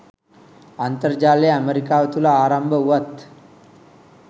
අන්තර්ජාලය ඇමරිකාව තුළ ආරම්භ වුවත්